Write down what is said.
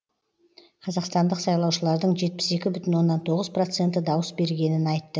қазақстандық сайлаушылардың жетпіс екі бүтін оннан тоғыз проценті дауыс бергенін айтты